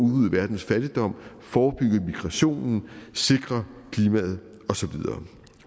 verdens fattigdom forebygge migrationen sikre klimaet og så videre